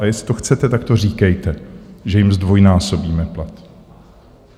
A jestli to chcete, tak to říkejte, že jim zdvojnásobíme plat.